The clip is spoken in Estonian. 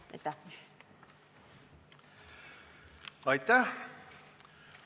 Aitäh!